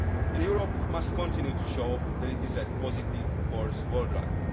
impact. Europe must continue to show that it is a positive force worldwide.